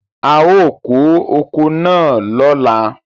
A ó kó oko náà lóla.